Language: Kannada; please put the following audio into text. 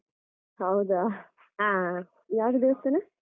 ಹೌದಾ ಯಾವುದು ದೇವಸ್ತಾನ?